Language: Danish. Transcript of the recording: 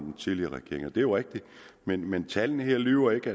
den tidligere regering det er rigtigt men men tallene her lyver ikke